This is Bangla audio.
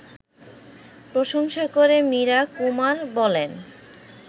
প্রশংসা করে মীরা কুমার বলেন